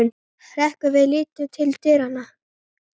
Hrekkur við og lítur til dyranna.